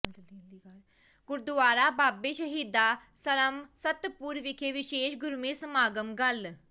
ਗੁਰਦੁਆਰਾ ਬਾਬੇ ਸ਼ਹੀਦਾਂ ਸਰਮਸਤਪੁਰ ਵਿਖੇ ਵਿਸ਼ੇਸ਼ ਗੁਰਮਤਿ ਸਮਾਗਮ ਕੱਲ੍ਹ